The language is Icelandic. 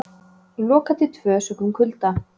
Lokað til tvö sökum kulda